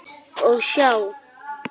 Og sjá!